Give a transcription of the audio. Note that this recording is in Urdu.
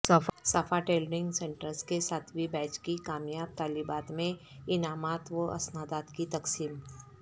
صفا ٹیلرنگ سنٹرس کے ساتویں بیچ کی کامیاب طالبات میں انعامات و اسنادات کی تقسیم